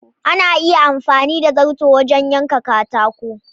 Ana iya amfani da zarto wajen yanka katako.